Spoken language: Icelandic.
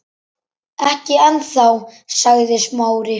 Ekki ennþá- sagði Smári.